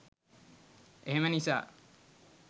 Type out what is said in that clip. එහෙම නිසා.